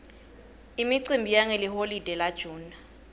imicimbi yangeliholide la june